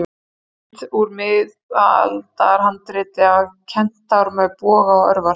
Mynd úr miðaldahandriti af kentár með boga og örvar.